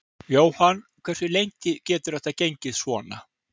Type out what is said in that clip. Jóhann: Hversu lengi getur þetta gengið svona?